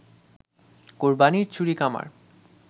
কোরবানির ছুরি কামার